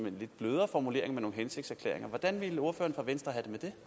en lidt blødere formulering med nogle hensigtserklæringer hvordan ville ordføreren for venstre